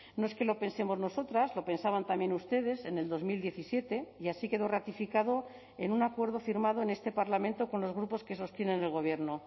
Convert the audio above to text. no es que lo pensemos nosotras lo pensaban también ustedes en el dos mil diecisiete y así quedó ratificado en un acuerdo firmado en este parlamento con los grupos que sostienen el gobierno